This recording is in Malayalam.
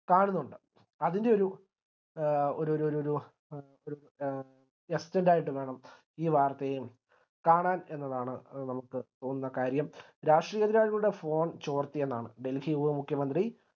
കാണുന്നുണ്ട് അതിൻറെ ഒരു ഒര് ഒര് ഒര് ഒരു എ വേണം ഈ വാർത്തയെ കാണാൻ എന്നതാണ് നമുക്ക് തോന്നുന്ന കാര്യം രാഷ്ട്രീയ യുടെ phone ചോർത്തിയെന്നാണ് delhi ലെ മുഖ്യ മന്ത്രി കാണുന്നുണ്ട്